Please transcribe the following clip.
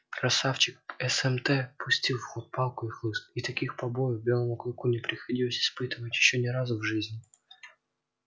красавчик смт пустил в ход палку и хлыст и таких побоев белому клыку не приходилось испытывать ещё ни разу в жизни